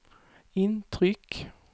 intryck